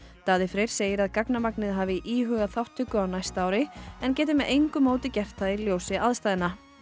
Daði Freyr segir að gagnamagnið hafi íhugað þáttöku á næsta ári en geti með engu móti gert það í ljósi aðstæðna